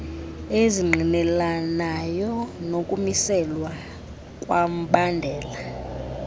ezingqinelanayo nokumiselwa kombandela